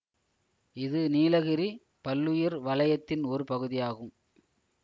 இது நீலகிரி பல்லுயிர் வலயத்தின் ஒரு பகுதியாகும்